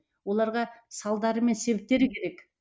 оларға салдары мен себептері керек